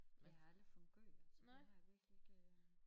Det har jeg aldrig fået gjort det har jeg virkelig ikke øh